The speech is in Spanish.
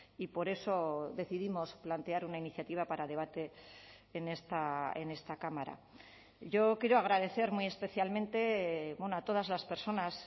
y por eso decidimos plantear una iniciativa para debate en esta cámara yo quiero agradecer muy especialmente a todas las personas